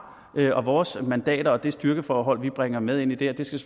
vores mandater og det styrkeforhold vi bringer med ind i det skal